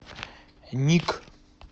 ник